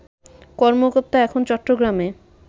কর্মকর্তা এখন চট্টগ্রামে